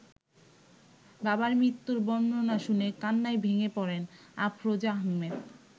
বাবার মৃত্যুর বর্ণনা শুনে কান্নায় ভেঙে পড়েন আফরোজা আহমেদ।